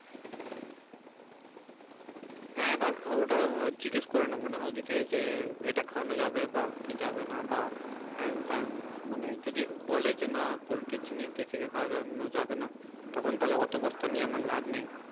হ্যাঁ দেখ ওটা কিস করে নেব না ওদিকে যে এটা খাওয়ানো যাবে বা কি যাবেনা বা হ্যাঁ তাও মানে যদি বলে যে না পোল্টির জিনিস দেশীকে খাওয়ানো যাবে না তখন তাহলে অত বস্তা নিয়ে আমার লাভ নেই